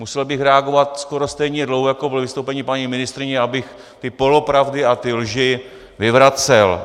Musel bych reagovat skoro stejně dlouho, jako bylo vystoupení paní ministryně, abych ty polopravdy a ty lži vyvracel.